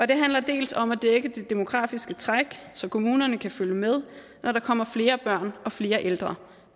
det handler dels om at dække de demografiske træk så kommunerne kan følge med når der kommer flere børn og flere ældre